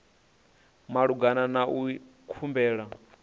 malugana na u ita khumbelo